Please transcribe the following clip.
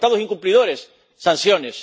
Y para los Estados incumplidores, sanciones.